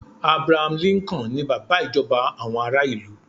Abraham Lincoln ni bàbá ìjọba àwọn ará ilu